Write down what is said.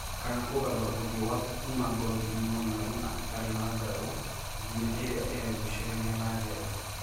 'Kana kũgarũra ũthiũ waku 'kuma ngothi ng'ũnyaru na ĩtarĩ nũngarũ nginya ĩrĩa iregucĩrĩria na njega"